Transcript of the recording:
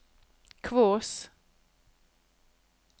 Kvås